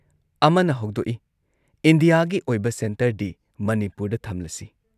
ꯑꯃꯅ ꯍꯧꯗꯣꯛꯏ‑ "ꯏꯟꯗꯤꯌꯥꯒꯤ ꯑꯣꯏꯕ ꯁꯦꯟꯇꯔꯗꯤ ꯃꯅꯤꯄꯨꯔꯗ ꯊꯝꯂꯁꯤ ꯫"